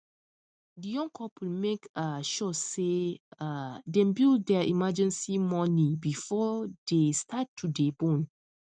the young couple make um sure say um them build their emergency money before they start to dey born um